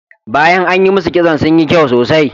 Bayan an yi masu kitson sun yi kyau sosai.